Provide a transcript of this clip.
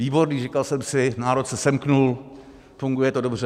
Výborný, říkal jsem si, národ se semkl, funguje to dobře.